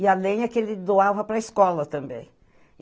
E a lenha que ele doava para escola também.